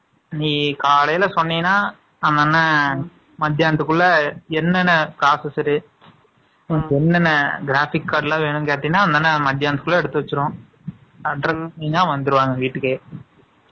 நீ காலையிலே சொன்னீன்னா, அந்த அண்ணன் 44 . மத்தியானத்துக்குள்ள, என்னென்ன காசு சரி? என்னென்ன graphic card எல்லாம் வேணும்ன்னு கேட்டீங்கன்னா, உடனே மத்தியானத்துக்குள்ள எடுத்து வச்சிருவோம். Address ன்னா வந்துருவாங்க, வீட்டுக்கே